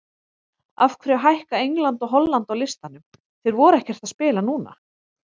Af hverju hækka England og Holland á listanum, þeir voru ekkert að spila núna?